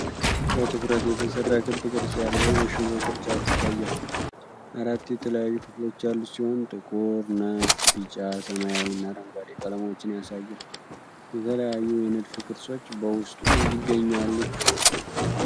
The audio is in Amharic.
በትኩረት የተሰራ ክብ ቅርጽ ያለው የሽቦ ቅርጫት ይታያል። አራት የተለያዩ ክፍሎች ያሉት ሲሆን፣ ጥቁር፣ ነጭ፣ ቢጫ፣ ሰማያዊ እና አረንጓዴ ቀለሞችን ያሳያል። የተለያዩ የንድፍ ቅርጾች በውስጡ ይገኛሉ።